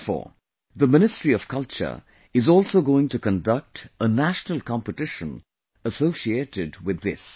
Therefore, the Ministry of Culture is also going to conduct a National Competition associated with this